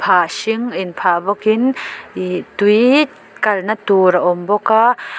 hring inphah bawkin ihh tui kalna tur a awm bawk a.